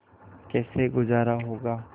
कैसे गुजारा होगा